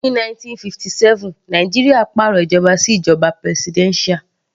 Ní 1979 Nàìjíríà pàrọ̀ ìjọba sí ìjoba presidential.